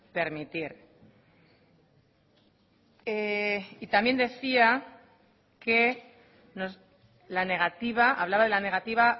permitir y también hablaba de la negativa